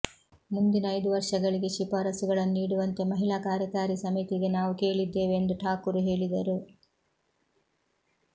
ಮುಂದಿನ ಐದು ವರ್ಷಗಳಿಗೆ ಶಿಫಾರಸುಗಳನ್ನು ನೀಡುವಂತೆ ಮಹಿಳಾ ಕಾರ್ಯಕಾರಿ ಸಮಿತಿಗೆ ನಾವು ಕೇಳಿದ್ದೇವೆ ಎಂದು ಠಾಕುರ್ ಹೇಳಿದರು